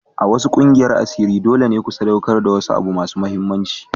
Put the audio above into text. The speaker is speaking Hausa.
A wasu ƙungiyar asiri dole ne ku sadaukar da wani abu mai mahimmanci.